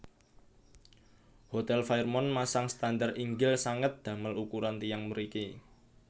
Hotel Fairmont masang standar inggil sanget damel ukuran tiyang mriki